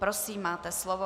Prosím, máte slovo.